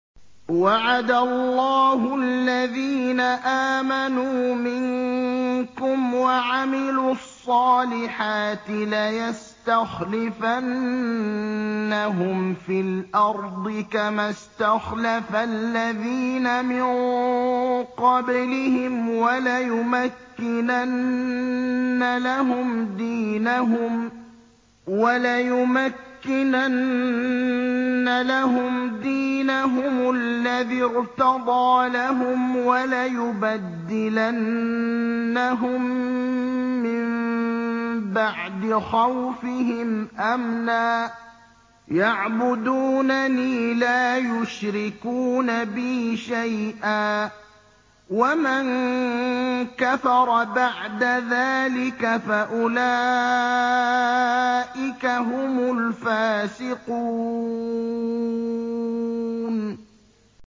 وَعَدَ اللَّهُ الَّذِينَ آمَنُوا مِنكُمْ وَعَمِلُوا الصَّالِحَاتِ لَيَسْتَخْلِفَنَّهُمْ فِي الْأَرْضِ كَمَا اسْتَخْلَفَ الَّذِينَ مِن قَبْلِهِمْ وَلَيُمَكِّنَنَّ لَهُمْ دِينَهُمُ الَّذِي ارْتَضَىٰ لَهُمْ وَلَيُبَدِّلَنَّهُم مِّن بَعْدِ خَوْفِهِمْ أَمْنًا ۚ يَعْبُدُونَنِي لَا يُشْرِكُونَ بِي شَيْئًا ۚ وَمَن كَفَرَ بَعْدَ ذَٰلِكَ فَأُولَٰئِكَ هُمُ الْفَاسِقُونَ